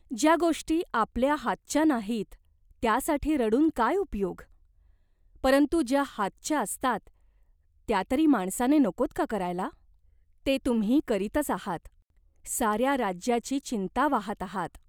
ज्या गोष्टी आपल्या हातच्या नाहीत त्यासाठी रडून काय उपयोग ?" "परंतु ज्या हातच्या असतात, त्या तरी माणसाने नकोत का करायला ?" "ते तुम्ही करीतच आहात. साऱ्या राज्याची चिंता वाहात आहात.